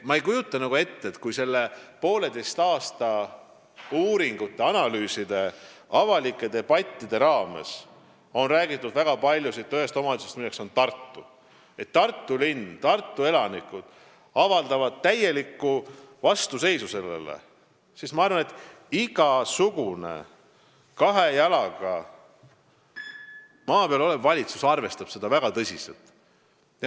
" Kui selle poolteise aasta jooksul on uuringute, analüüside ja avalike debattide raames räägitud palju ühest omavalitsusest, Tartu linnast, ja kui Tartu elanikud avaldavad täielikku vastuseisu, siis ma arvan, et iga kahe jalaga maa peal seisev valitsus arvestab seda väga tõsiselt.